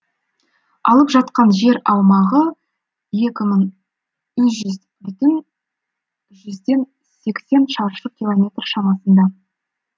алып жатқан жер аумағы екі мың үш жүз бүтін жүзден сексен шаршы километр шамасында